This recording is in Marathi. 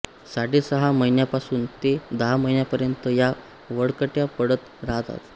साडे सहा महिन्यांपासून ते दहा महिन्यांपर्यंत या वळकट्या पडत राहतात